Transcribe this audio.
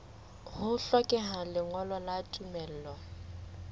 ho hlokeha lengolo la tumello